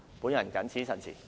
我謹此陳辭。